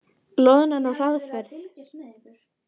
Loðnan á hraðferð